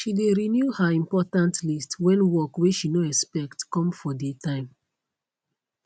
she de renew her important list when work wey she no expect come for dey time